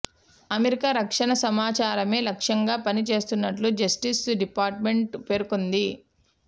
America రక్షణ సమాచారమే లక్ష్యంగా పని చేస్తున్నట్లు జస్టిస్ డిపార్టుమెంట్ పేర్కొంది